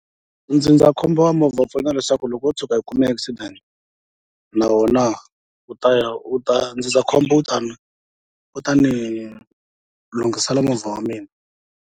Ndzindzakhombo wa movha wu pfuna leswaku loko wo tshuka i kume accident na wona wu ta ya u ta ndzindzakhombo wu tani u ta ni lunghisela movha wa mina.